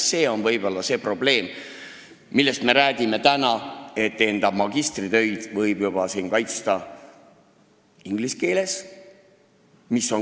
Võib-olla on probleem, millest praegu rääkima peaks, see, et enda magistritöid võib siin juba inglise keeles kaitsta.